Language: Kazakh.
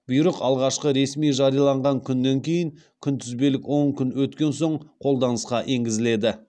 бұйрық алғашқы ресми жарияланған күнінен кейін күнтізбелік он күн өткен соң қолданысқа енгізіледі